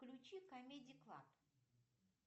включи камеди клаб